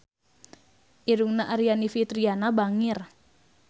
Irungna Aryani Fitriana bangir